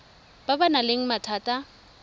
ba ba nang le mathata